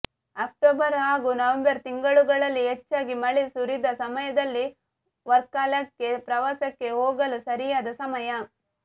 October ಹಾಗೂ November ತಿಂಗಳುಗಳಲ್ಲಿ ಹೆಚ್ಚಾಗಿ ಮಳೆ ಸುರಿಯದ ಸಮಯದಲ್ಲಿ ವರ್ಕಲಾಕ್ಕೆ ಪ್ರವಾಸಕ್ಕೆ ಹೋಗಲು ಸರಿಯಾದ ಸಮಯ